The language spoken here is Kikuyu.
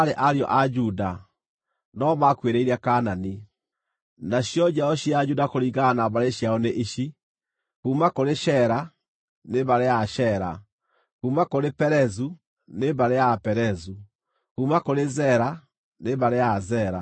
Nacio njiaro cia Juda kũringana na mbarĩ ciao nĩ ici: kuuma kũrĩ Shela, nĩ mbarĩ ya Ashela; kuuma kũrĩ Perezu, nĩ mbarĩ ya Aperezu; kuuma kũrĩ Zera, nĩ mbarĩ ya Azera.